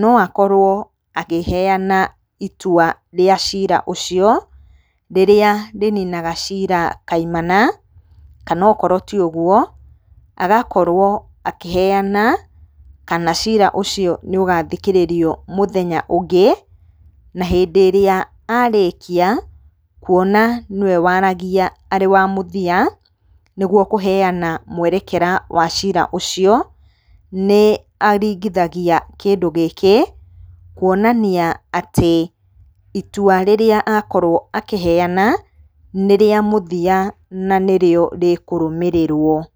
no akorwo akĩheana itua rĩa ciira ũcio rĩrĩa rĩninaga ciira kaimana. Kana akorwo ti ũguo agakorwo akĩheana, kana cira ũcio nĩ ũgathikĩrĩrio mũthenya ũngĩ. Na hĩndĩ ĩrĩa arĩkia, kuona nĩwe waaragia arĩ wa mũthia, nĩguo kũheana mwerekera wa ciira ũcio, nĩ aringithagia kĩndũ gĩkĩ kuonania atĩ itua rĩrĩa akorwo akĩheana nĩ rĩa mũthia na nĩrĩo rĩkũrũmĩrĩrwo.